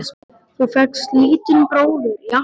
Þú fékkst lítinn bróður í afmælisgjöf.